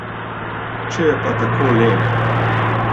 Če je pa tako lep!